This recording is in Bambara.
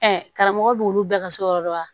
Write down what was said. karamɔgɔ b'olu bɛɛ ka so yɔrɔ dɔ la